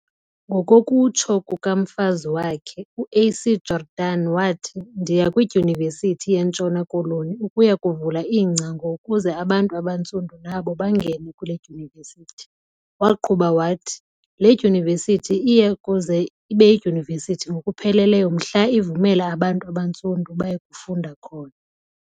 Ngokokutsho kukamfazi wakhe, uA.C.Jordan wathi "Ndiya kwidyunivesithi yeNtshona Koloni ukuya kuvula iingcango ukuze abantu abantsundu nabo bangene kule dyunivesithi. Waqhuba wathi, "le dyunivesithi iya kuze ibeyidyunivesithi ngokupheleleyo mhla ivumela abantu abantsundu baye kufunda khona."